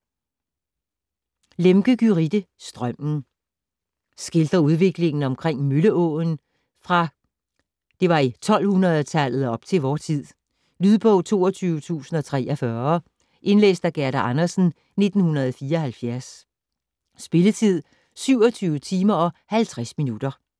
Lemche, Gyrithe: Strømmen Skildrer udviklingen omkring Mølleåen fra det 1200-tallet op til vor tid. Lydbog 22043 Indlæst af Gerda Andersen, 1974. Spilletid: 27 timer, 50 minutter.